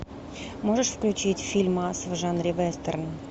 можешь включить фильмас в жанре вестерн